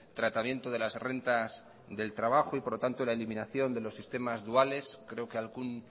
tratamiento de las rentas del trabajo y por lo tanto la eliminación de los sistemas duales creo que algún